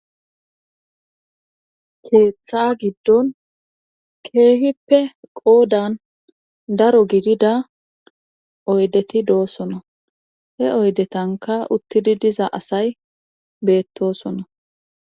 Keeththa giddon keehippe qoodan daro gidida oydeti doosona he oydetanka uttidi diza asay beettosona